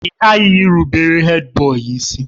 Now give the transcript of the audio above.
Ị ghaghị ịrụbere Hèdbọyi isi!